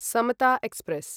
Samta express